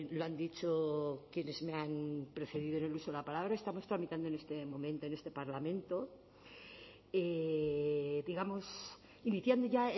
lo han dicho quienes me han precedido en el uso la palabra estamos tramitando en este momento en este parlamento digamos iniciando ya